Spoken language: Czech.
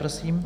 Prosím.